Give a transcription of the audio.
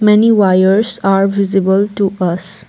Many wires are visible to us.